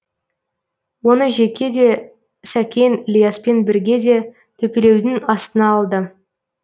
оны жеке де сәкен ілияспен бірге де төпелеудің астына алды